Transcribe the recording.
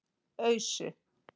Ausu